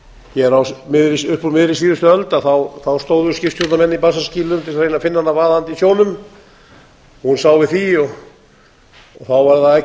hér upp úr miðri síðustu öld stóðu skipstjórnarmenn í bassaskýlum til þess að reyna að finna hana vaðandi í sjónum hún sá við því og þá var